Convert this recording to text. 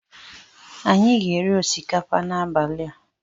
Anyị ga-eri osikapa n'abalị a.